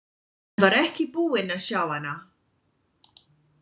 Hann var ekki búinn að sjá hana.